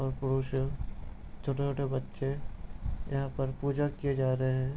ओर पुरुष है छोटे-छोटे बच्चे यहाँ पर पूजा किए जा रहे हैं |